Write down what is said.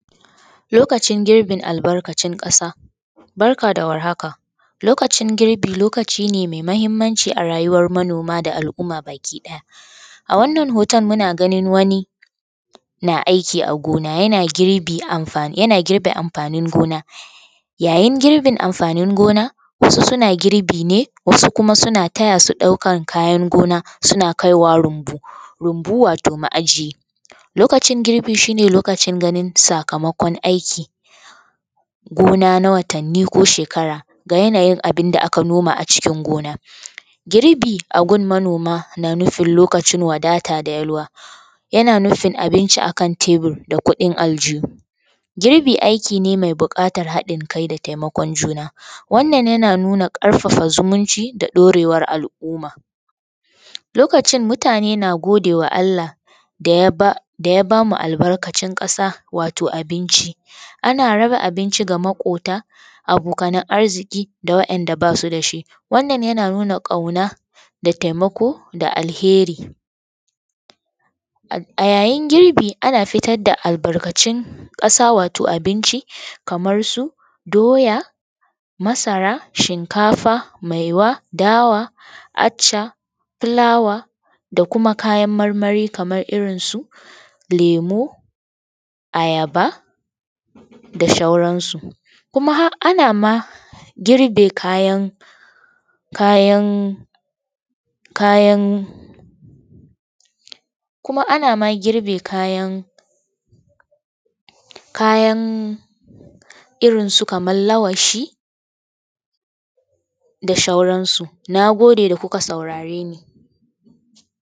Lokacin girbin albarkacin ƙasa, barka da warhaka, lokacin girbi lokaci da mai mahimmanci a rayuwar manoma da alumma baki ɗaya. A wannan hoton muna ganin wani yana girbe amfani gona yayin girbin amfanin gona wasu suna girbi ne wasu kuma suna taya su ɗaukar kayan gonar suna kaiwa rumbu wato ma'aji. Lokacin girbi shi ne lokacin sakamakon aiki gona na watanni ko shekara na abinda aka noma a cikin gona. Girbi a gun manoma na nufi lokacin wadata, yana nufin abinci akan tabur da kuɗin a a aljihu. Girbi aiki ne mai bukatar haɗin kai da taimakon juna. Wannan yana nuna ƙarfafa zumucin da daurewar al'umma. Lokacin mutane na gode wa Allah da ya ba mu albarkacin ƙasa wato abinci, ana raba abinci ga maƙwabta da abokanan arziki da waɗanda ba su da shi. Wannan yana nuna ƙauna da taimako da alkairi. A yayin girbi ana fita da albarkantun ƙasa kamar su doya masara shinkafa maiwa dawa, acca, fulawa da kuma kayan marmari kamar irinsu lemu ayaba da sauransu. Kuma har ana ma girbe kayan kuma ana girbe kayan irinsu kamar lawashi da sauransu. Na gode da kuka saurare ni.